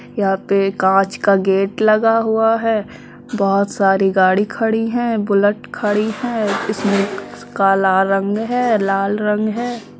यहाँ पे कांच का गेट लगा हुआ है। बहोत सारी गाड़ी खड़ी हैं। बुलेट खड़ी हैं। इसमे काला रंग है लाल रंग है।